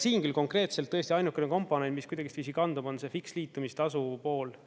Siin küll konkreetselt tõesti ainukene komponent, mis kuidagiviisi kandub, on see fiks liitumistasu pool.